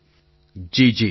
પ્રધાનમંત્રી જી જી